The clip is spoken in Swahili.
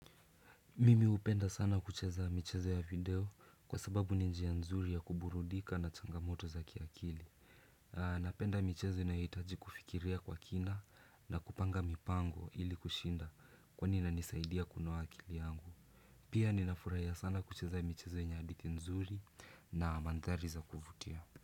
Mimi hupenda sana kucheza michezo ya video kwa sababu ni njia nzuri ya kuburudika na changamoto za kiakili. Napenda michezo inayohitaji kufikiria kwa kina na kupanga mipango ili kushinda kwani inanisaidia kunoa akili yangu. Pia ninafurahiya sana kucheza michezo yenye hadithi nzuri na manthari za kuvutia.